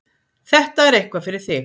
Þetta er eitthvað fyrir þig.